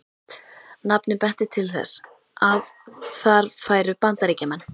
Nafnið benti til þess, að þar færu Bandaríkjamenn.